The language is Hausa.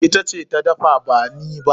Ita ce ta dafa ba ni ba.